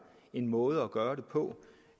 en måde at gøre det på